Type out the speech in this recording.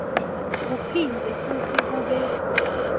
kuphindze futsi kube